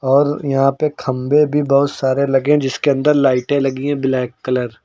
और यहां पे खंभे भी बहुत सारे लगे जिसके अंदर लाइटें लगी है ब्लैक कलर --